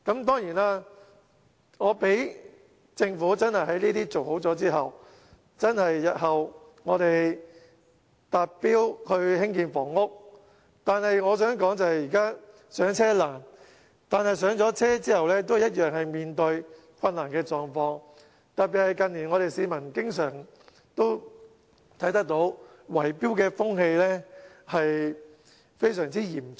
當然，政府做好這些後，在日後興建房屋達標後，我想說的是，現在"上車"難，但"上車"後同樣面對問題，特別是近年市民經常看到圍標風氣非常嚴重。